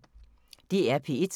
DR P1